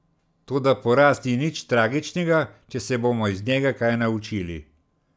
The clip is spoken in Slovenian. Toda poraz ni nič tragičnega, če se bomo iz njega kaj naučili.